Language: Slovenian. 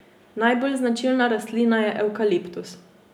Najbolj značilna rastlina je evkaliptus.